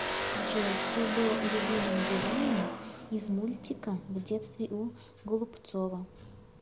джой кто был любимым героем из мультика в детстве у голубцова